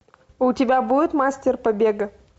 у тебя будет мастер побега